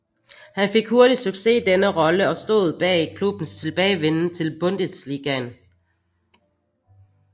Han fik hurtigt succes i denne rolle og stod bag klubbens tilbagevenden til Bundesligaen